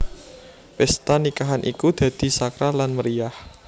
Pesta nikahan iku dadi sakral lan meriyah